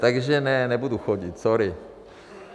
Takže ne, nebudu chodit, sorry.